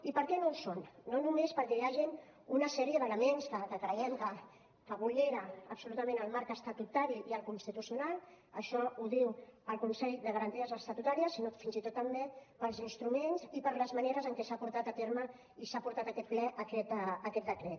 i per què no ho són no només perquè hi hagin una sèrie d’elements que creiem que vulneren absolutament el marc estatutari i el constitucional això ho diu el consell de garanties estatutàries sinó fins i tot també pels instruments i per les maneres en què s’ha portat a terme i s’ha portat a aquest ple aquest decret